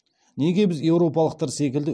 неге біз еуропалықтар секілді